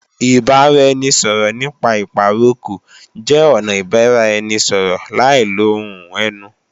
Ìbáraẹnisọ̀rọ̀ nípa ìpàrokò jẹ́ ọnà ìbáraẹnisọ̀rọ̀ láì lo ohùn ẹnu